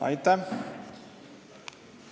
Aitäh!